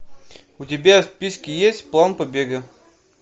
у тебя в списке есть план побега